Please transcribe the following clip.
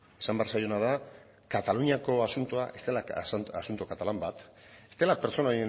esan behar zaiona da kataluniako asuntoa ez dela asunto katalan bat ez dela pertsona